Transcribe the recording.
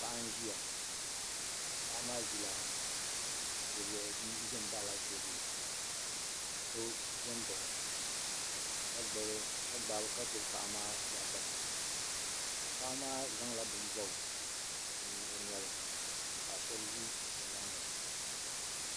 Paɣa n zɛya paɣa maa zɛ m baɣi la tɛɛbuli la so zɛ nbaɣi o ka gbubi paɣa maa bɔɣu sapiŋ paɣa maa zaŋla bini bɔbi o noli ka paɣa shɛba zi o yɛanga.